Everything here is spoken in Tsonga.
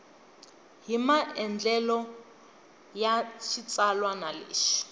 hi maandlalelo ya xitsalwana lexi